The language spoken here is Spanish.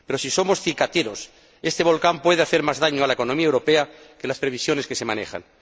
Pero si somos cicateros, este volcán puede hacer más daño a la economía europea que las previsiones que se manejan.